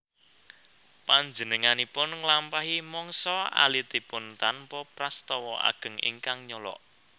Panjenenganipun nglampahi mangsa alitipun tanpa prastawa ageng ingkang nyolok